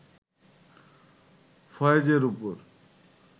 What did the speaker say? ফয়েজের ওপর